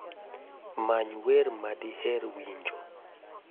many wer ma diher winjo